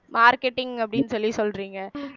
marketing அப்படின்னு சொல்லி சொல்றீங்க